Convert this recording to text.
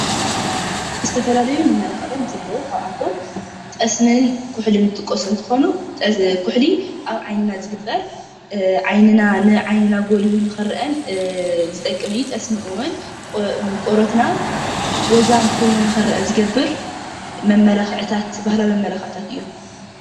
ዝተፈላለዩ መማላኽዒታት እንትህልዎ ካብኣቶም ጠስምን ኩሕልን ዝጥቀሱ እንትከውን ኩሕሊ ኣብ ዓይንና ዝግበር ዓይንና ንዓይንና ጎሊሁ ንኽረአ ዝጠቅም እዩ ጠስሚ እውን ቆርበትና ወዛም ኮይኑ ንኽረአ ዝገብር መማላኪዒታት ባህላዊ መማላኽዒታት እዩ።